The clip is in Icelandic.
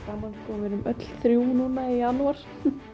við erum öll þrjú núna í janúar